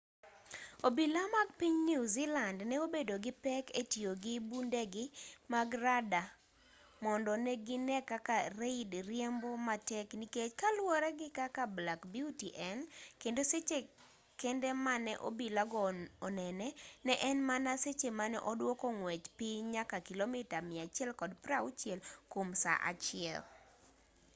obila mag piny newzealand ne obedo gi pek e tiyo gi bundegi mag rada mondo ne gine kaka reid riembo matek nikech kaluwore gi kaka black beauty en kendo seche kende mane obila go onene ne en mana seche mane oduoko ng'wech piny nyaka kilomita 160 kwom saa achiel